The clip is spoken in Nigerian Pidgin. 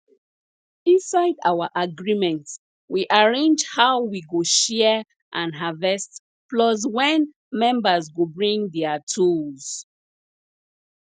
inside our agreement we arrange how we go share and harvest plus when members go bring their tools